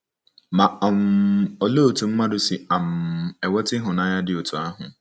Ma um olee otú mmadụ si um enweta ịhụnanya dị otú ahụ?